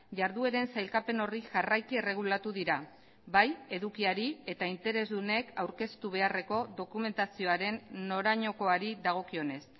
jardueren sailkapen horri jarraiki erregulatu dira bai edukiari eta interesdunek aurkeztu beharreko dokumentazioaren norainokoari dagokionez